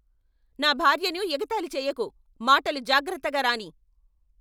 నా భార్యను ఎగతాళి చేయకు! మాటలు జాగ్రత్తగా రానీయ్!